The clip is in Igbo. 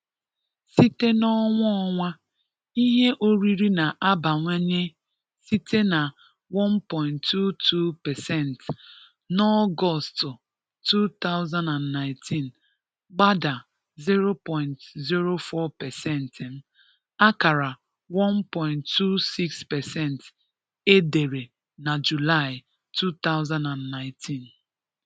Sì̀tè n’ọnwà-ọnwà, ihè-orìrí na-abàwànyè sị̀tè na one point two two percent n’Ọgọ̀stù two thousand and nineteen, gbàdà zero point zero four percent m, àkàrà one point two six percent è dèrè n’Júlàị̀ two thousand and nineteen